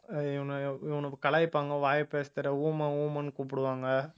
இவனை இவனுங்க கலாய்ப்பாங்க வாய் பேச தெரியலை ஊமை ஊமைன்னு கூப்புடுவாங்க